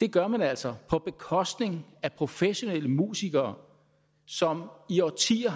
det gør man altså på bekostning af professionelle musikere som i årtier